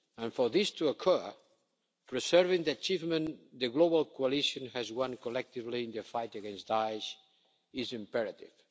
For this to occur, preserving the achievements the global coalition has won collectively in the fight against Daesh is imperative.